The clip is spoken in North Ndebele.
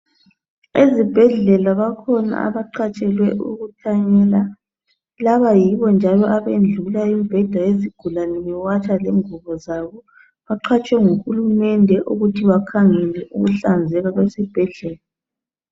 Ezibhedlela bakhona abaqhatshelwe ukuthanyela. Laba yibo njalo abendlula imibheda yezigulane, bewatsha lengubo zabo. Baqhatshwe nguhulumende ukuthi bakhangela ukuhlanzeka kwezibhedlela.